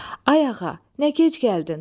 Ay ağa, nə gec gəldin?